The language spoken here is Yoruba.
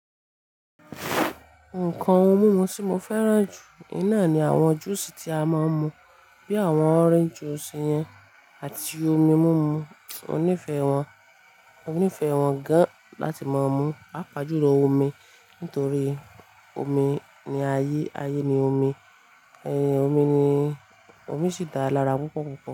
Nǹkan ohun mímu tí mo fẹ́ràn jù iná ni àwọn júùsì tí a máa ń mu bí i àwọn ọ́rénjí júùsì yẹn àti omi mímu. Mo nífẹ̀ẹ́ wọn, mo nífẹ̀ẹ́ wọn gan láti máa mu. Pàápàjùlọ omi nítorí omi ni ayé, ayé ni omi, omi ni, omi sì dára púpọ̀ púpọ̀.